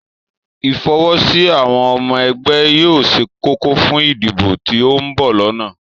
Ìfọwọ́sí àwọn ọmọ ẹgbẹ́ yóò ṣe kókó fún ìdìbò tí ó ń bọ̀ lọ́nà